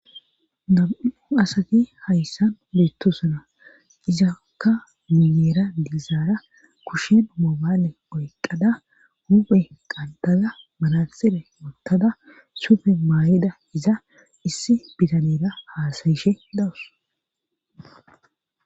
nam7u asati hayssan beettusuna izakka mimeera dizaara kushen moobaale oyqqada huphe qantaza manaxile yottada sufe maay7ida iza issi bitanera haasayishe dawus